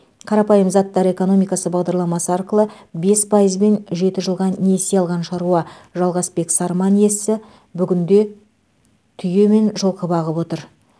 қарапайым заттар экономикасы бағдарламасы арқылы бес пайызбен жеті жылға несие алған шаруа жалғасбек сарман иесі бүгінде түйе мен жылқы бағып отыр